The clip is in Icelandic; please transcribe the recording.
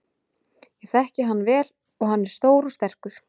Ég þekki hann vel og hann er stór og sterkur.